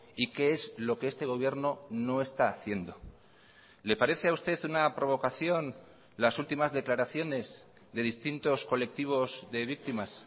y qué es lo que este gobierno no está haciendo le parece a usted una provocación las últimas declaraciones de distintos colectivos de víctimas